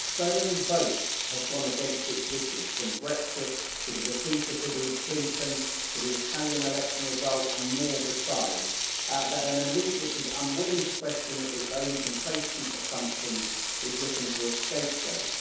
So many votes have gone against its wishes from Brexit to the defeat of Hillary Clinton, to the Italian election result, and more besides that an elite which is unwilling to question its own complacent assumptions is looking for a scapegoat.